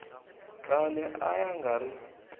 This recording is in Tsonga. khale a ya nga ri